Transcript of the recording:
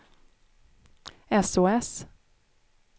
sos